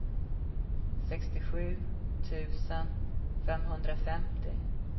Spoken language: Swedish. sextiosju tusen femhundrafemtio